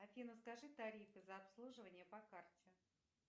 афина скажи тарифы за обслуживание по карте